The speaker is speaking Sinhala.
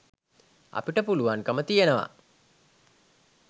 අපිට පුළුවන්කම තියෙනවා.